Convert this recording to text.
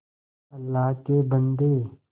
अल्लाह के बन्दे